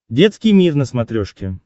детский мир на смотрешке